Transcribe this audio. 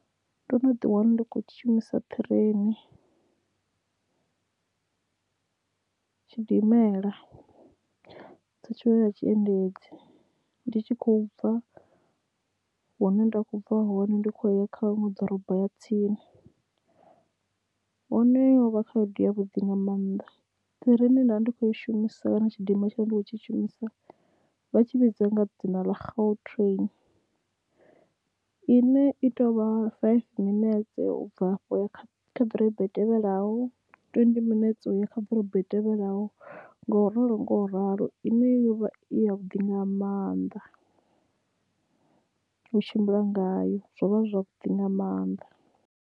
Ndo no ḓi wana ndi kho shumisa train tshidimela sa tshiṅwe tsha tshiendedzi ndi tshi khou bva hune nda kho bva hone ndi khou ya kha huṅwe ḓorobo ya tsini one ho vha khaedu ya vhuḓi nga mannḓa train ye nda ndi kho i shumisa kana tshidimela tshine ndi khou tshi shumisa vha tshi vhidza nga dzina ḽa gautrain ine i tovha five minetse u bva afho uya kha ḓorobo i tevhelaho twendi minetse uya kha ḓorobo itevhelaho ngo ralo ngo ralo ine yo vha i ya vhuḓi nga mannḓa u tshimbila ngayo zwo vha zwavhuḓi nga maanḓa.